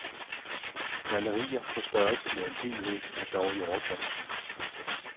Malerier å størrelse med en hel væg er dog i overkanten.